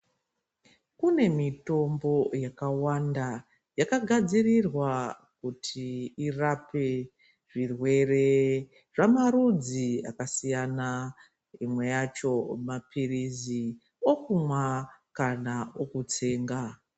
Kune mitombo yakawanda, yakagadzirirwa kuti irape zvirwere zvamarudzi akasiyana, imwe yacho maphirizi, okumwa kana okutsenga.